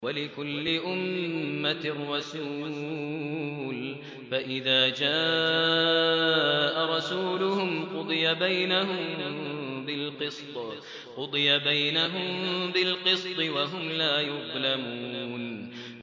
وَلِكُلِّ أُمَّةٍ رَّسُولٌ ۖ فَإِذَا جَاءَ رَسُولُهُمْ قُضِيَ بَيْنَهُم بِالْقِسْطِ وَهُمْ لَا يُظْلَمُونَ